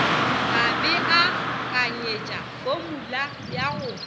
ka beakanyetša fomula ya go